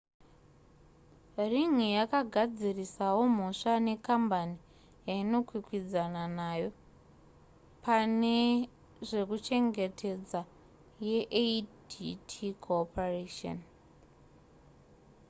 ring yakagadzirisawo mhosva nekambani yainokwikwidzana nayo pane zvekuchengetedza yeadt corporation